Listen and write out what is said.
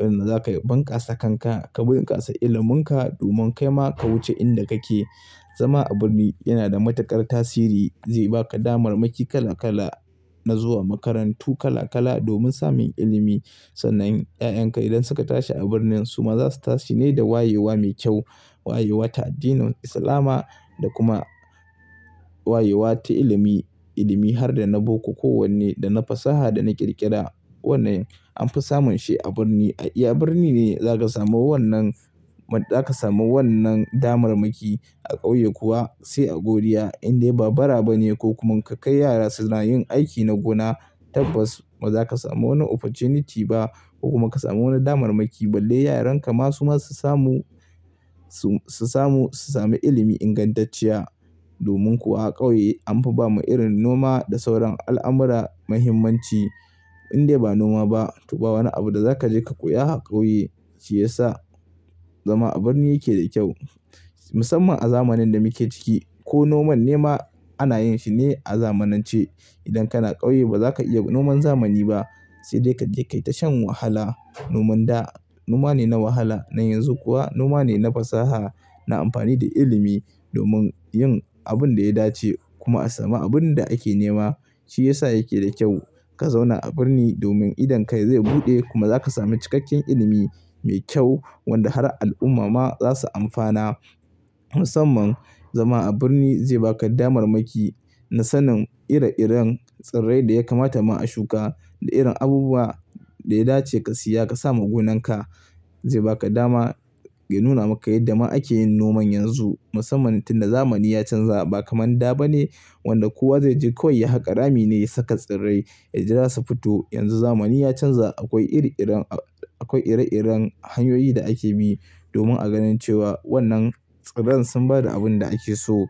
inda za ka bunƙasa kanka, ka bunƙasa iliminka domin kai ma ka wuce inda kake. Zama a birni yana da matuƙar tasiri. Zai baka damarmaki kala kala na zuwa makarantu kala kala domin samun ilimi. Sannan 'ya'yanka idan suka tashi a birnin su ma za su tashi ne da wayewa mai kyau. Wayewa ta addinin Islama da kuma wayewa ta ilimi, ilimi har da na boko kowanne da na fasaha da na ƙirƙira. Wannan an fi samun shi a birni. A iya birni ne za ka samu wannan, za ka samu wannan damarmaki. A ƙauye kuwa sai a godiya indai ba bara ba ne ko kuma in ka kai yara suna yin aiki na gona. Tabbas ba za ka samu wani opportunity ba ko kuma ka samu wani damarmaki balle yaranka ma su ma su samu, su samu, su sami ilimi ingantacciya. Domin kuwa a ƙauye an fi ba ma irin noma da sauran al'amura mahimmanci indai ba noma ba. To ba wani abu da za ka je ka koya a ƙauye. Shi ya sa zama a birni yake da kyau musamman a zamanin da muke ciki. Ko noman nema ana yin shi ne a zamanance. Idan kana ƙauye ba za ka iya noman zamani ba. Sai dai ka je kai ta shan wahala. Noman da noma ne na wahala. Na yanzu kuwa noma ne na fasaha, na amfani da ilimi domin yin abin da ya dace kuma a sami abun da ake nema. Shi ya sa yake da kyau ka zauna a birni domin idonka zai buɗe kuma za ka sami cikakken ilimi mai kyau wanda har al'umma ma za su amfana. Musamman zama a birni zai baka damarmaki na sanin ire-iren tsirrai da ya kamata ma a shuka da irin abubuwa da ya dace ka siya ka sa ma gonan ka. Zai baka dama ya nuna maka yadda ma ake yin noman yanzu. Musamman tin da zamani ya canza ba kamar da ba ne wanda kowa zai je kawai ya haƙa rami ne saka tsirrai ya jira su fito. Yanzu zamani ya canza akwai iri-iren, akwai ire-iren hanyoyi da ake bi domin a ganin cewa wannan tsirran sun ba da abin da ake so.